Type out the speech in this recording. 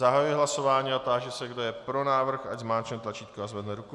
Zahajuji hlasování a táži se, kdo je pro návrh, ať zmáčkne tlačítko a zvedne ruku.